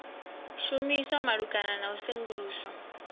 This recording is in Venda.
shumiswa malugana na u sengulusa